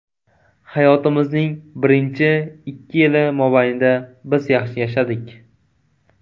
Hayotimizning birinchi ikki yili mobaynida biz yaxshi yashadik.